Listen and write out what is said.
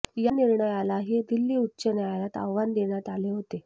या निर्णयालाही दिल्ली उच्च न्यायालयात आव्हान देण्यात आले होते